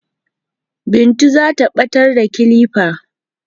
Bintu zata ɓatar da kilifa